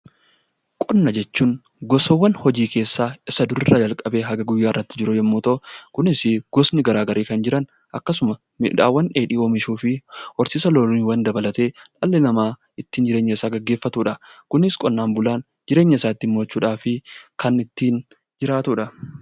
Qonna jechuun gosaawwan hojii keessaa isa duraa kaasee kunis hanga guyyaa har'aatti jiru yemmuu ta'u, innis gosni garaagarii kan jiran akkasuma meeshaawwan dheedhii oomishuuf horsiisa loonii dabalatee dhalli namaa ittiin jireenya isaa gaggeeffatudha. Kunis qonnaan bulaan jireenya isaa ittiin mo'achuuf kan ittiin jiraatudha.